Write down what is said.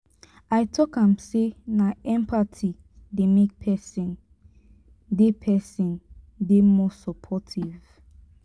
i tok am sey na empathy dey make pesin dey pesin dey more supportive.